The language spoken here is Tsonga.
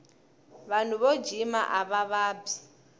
vanhu vo jhima ava vabyi